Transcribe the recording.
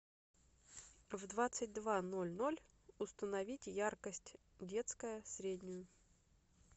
в двадцать два ноль ноль установить яркость детская среднюю